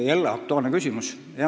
Tänan, jälle aktuaalne küsimus!